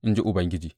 in ji Ubangiji.